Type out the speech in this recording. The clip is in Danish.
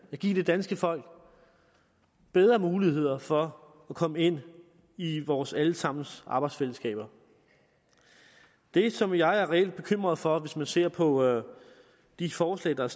give det danske folk bedre muligheder for at komme ind i vores alle sammens arbejdsfællesskaber det som jeg er reelt bekymret for hvis man ser på de forslag der